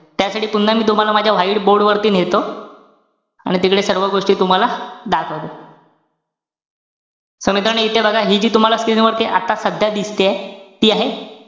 त्यासाठी पुन्हा मी तुम्हाला माझ्या white board वरती नेतो. आणि तिकडे सर्व गोष्टी तुम्हाला दाखवतो. so मित्रांनो, इथे बघा, हि जी तुम्हाला screen वरती आता सध्या दिसतेय. ती आहे,